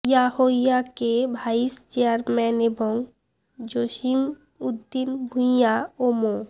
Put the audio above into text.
ইয়াহ্ইয়াকে vice chairman এবং জসিম উদ্দিন ভূইয়া ও মো